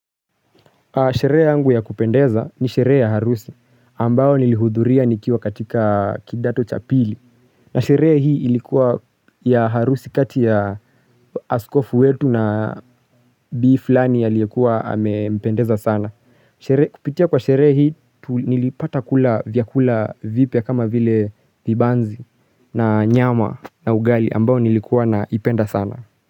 Sherehe yangu ya kupendeza ni sherehe ya harusi ambao nilihudhuria nikiwa katika kidato chapili. Na sherehe hii ilikuwa ya harusi kati ya askofu wetu na biflani ya liyekua amependeza sana. Kupitia kwa sheree hii nilipata kula vyakula vipya kama vile vibanzi na nyama na ugali ambao nilikuwa na ipenda sana.